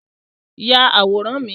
Yà àwòrán mi!